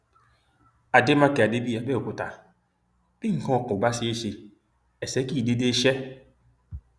àdèmàkè adébíyí àbẹòkúta bí nǹkan kò bá ṣe ẹsẹ ẹsẹ kì í dédé ṣe